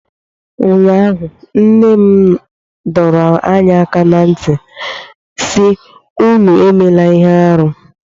ụnyahụ, nna m dọrọ anyị aka ná ntị sị, unu emela ihe arụ